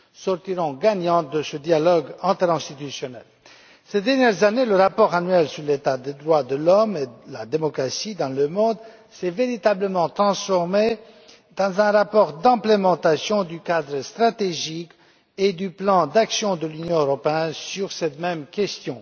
sortiront gagnantes de ce dialogue interinstitutionnel. Ces dernières années, le rapport annuel sur l'état des droits de l'homme et de la démocratie dans le monde s'est véritablement transformé en un rapport de mise en œuvre du cadre stratégique et du plan d'action de l'Union européenne sur cette même question.